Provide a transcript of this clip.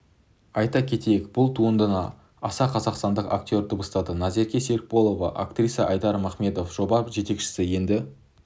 айта кетейік бұл туындыны аса қазақстандық актр дыбыстады назерке серікболова актриса айдар махметов жоба жетекшісі енді